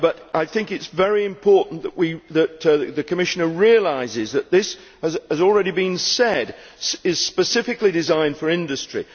I think it is very important that the Commissioner realises that, as has already been said, it is specifically designed for industry.